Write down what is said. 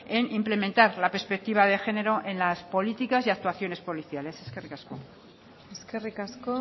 en implementar la perspectiva de género en las políticas y actuaciones policiales eskerrik asko eskerrik asko